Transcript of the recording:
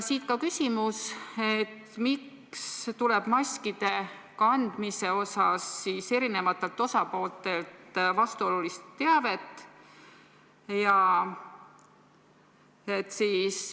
Siit ka küsimus: miks tuleb maskide kandmise kohta eri osapooltelt vastuolulist teavet?